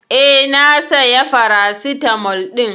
Eh, na saya paracetamol ɗin.